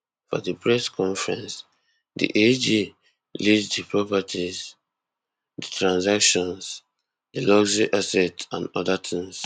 for di press conference di ag list di properties di transactions di luxury assets and oda tins tins